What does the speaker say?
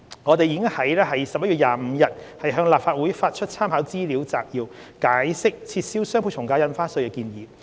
我們已於11月25日向立法會發出參考資料摘要，解釋撤銷雙倍從價印花稅的建議。